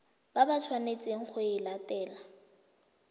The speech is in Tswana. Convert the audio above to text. ba tshwanetseng go e latela